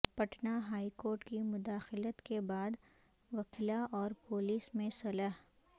Patna high court کی مداخلت کے بعد وکلا اور پولیس میں صلح